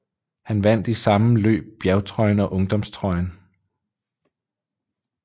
Han vandt i samme løb bjergtrøjen og ungdomstrøjen